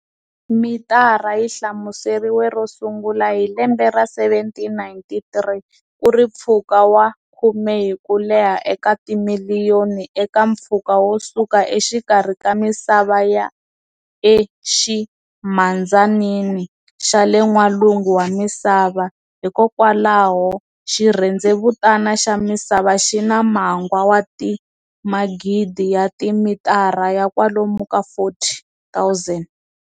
Mitara yi hlamuseriwe ro sungula hi lembe ra 1793 kuri mpfhuka wa khume hi kuleha eka timiliyoni eka mpfhuka wo suka exikarhi ka misava ya e ximhandzanini xale n'walungu wa misava-hikwalaho xirhendzevutana xa misava xina magwa wa ti magidi ya ti mitara ya kwalomu ka 40,000.